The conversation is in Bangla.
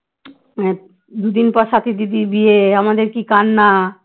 দুদিন পর সাথী দিদির বিয়ে আমাদের কি কান্না